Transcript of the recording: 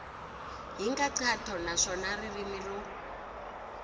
hi nkhaqato naswona ririmi ro